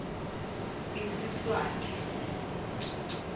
isiswati